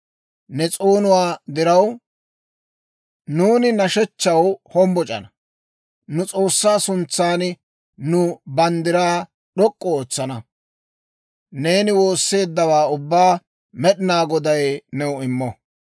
Ne s'oonuwaa diraw, nuuni nashshechchaw hombboc'ana; nu S'oossaa suntsan nu banddiraa d'ok'k'u ootsana. Neeni woosseeddawaa ubbaa Med'inaa Goday new immo.